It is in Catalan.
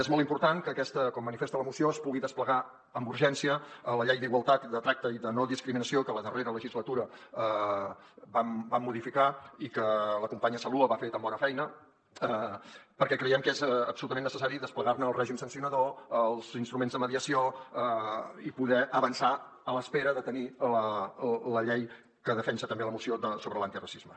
és molt important que aquesta com manifesta la moció es pugui desplegar amb urgència a la llei d’igualtat de tracte i de no discriminació que a la darrera legislatura vam modificar i que la companya saloua hi va fer tan bona feina perquè creiem que és absolutament necessari desplegar ne el règim sancionador els instruments de mediació i poder avançar a l’espera de tenir la llei que defensa també la moció sobre l’antiracisme